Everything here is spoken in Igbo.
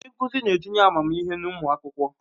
Ndi nkuzi n'etinye amamihe n'umu akwukwo